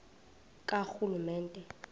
karhulumente